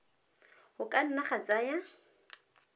go ka nna ga tsaya